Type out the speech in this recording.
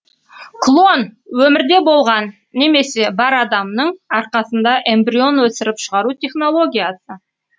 клон өмірде болған немесе бар адамның арқасында эмбрион өсіріп шығару технологиясы